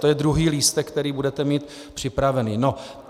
To je druhý lístek, který budete mít připravený.